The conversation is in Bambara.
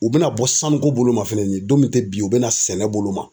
U bɛna bɔ sanuko bolo ma fɛnɛni don min tɛ bi u bɛna sɛnɛ bolo ma.